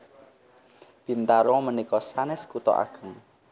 Bintaro menika sanes kuto ageng